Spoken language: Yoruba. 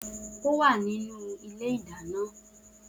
O wa ninu ibi ile ìdáná.